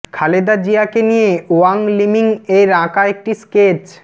খালেদা জিয়াকে নিয়ে Wang Liming এর আঁকা একটি স্কেচ